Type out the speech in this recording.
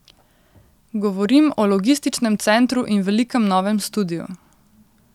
Govorim o logističnem centru in velikem novem studiu.